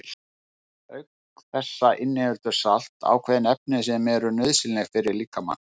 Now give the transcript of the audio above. Auk þessa inniheldur salt ákveðin efni sem eru nauðsynleg fyrir líkamann.